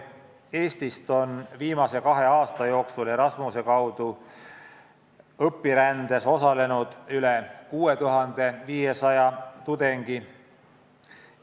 Eestist on viimase kahe aasta jooksul Erasmuse kaudu õpirändes osalenud üle 6500 tudengi.